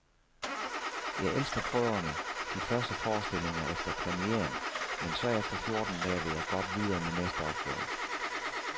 Jeg elsker prøverne, de første forestillinger efter premieren, men så efter fjorden dage, vil jeg godt videre med næste opgave.